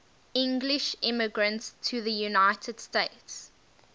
english immigrants to the united states